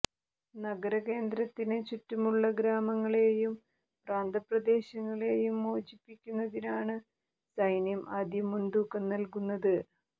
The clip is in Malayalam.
നഗരകേന്ദ്രത്തിന് ചുറ്റുമുള്ള ഗ്രാമങ്ങളെയും പ്രാന്തപ്രദേശങ്ങളെയും മോചിപ്പിക്കുന്നതിനാണ് സൈന്യം ആദ്യം മുൻതൂക്കം നൽകുന്നത്